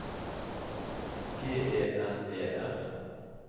G E N E R